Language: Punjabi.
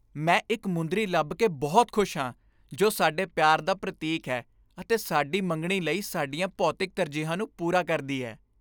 ਮੈਂ ਇੱਕ ਮੁੰਦਰੀ ਲੱਭ ਕੇ ਬਹੁਤ ਖੁਸ਼ ਹਾਂ ਜੋ ਸਾਡੇ ਪਿਆਰ ਦਾ ਪ੍ਰਤੀਕ ਹੈ ਅਤੇ ਸਾਡੀ ਮੰਗਣੀ ਲਈ ਸਾਡੀਆਂ ਭੌਤਿਕ ਤਰਜੀਹਾਂ ਨੂੰ ਪੂਰਾ ਕਰਦੀ ਹੈ।